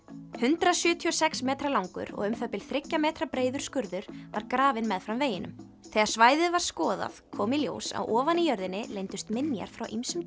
hundrað sjötíu og sex metra langur og um það bil þriggja metra breiður skurður var grafinn meðfram veginum þegar svæðið var skoðað kom í ljós að ofan í jörðinni leyndust minjar frá ýmsum